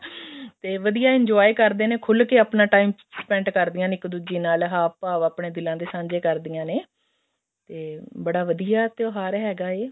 ਤੇ ਵਧੀਆ enjoy ਕਰਦੇ ਨੇ ਖੁੱਲ ਕੇ ਆਪਣਾ time spend ਕਰਦੀਆਂ ਨੇ ਇੱਕ ਦੂਜੀ ਨਾਲ ਹਾਵ ਭਾਵ ਆਪਣੇ ਦਿਲਾਂ ਦੇ ਸਾਂਝੇ ਕਰਦੀਆਂ ਨੇ ਤੇ ਬੜਾ ਵਧੀਆ ਤਿਉਹਾਰ ਹੈਗਾ ਇਹ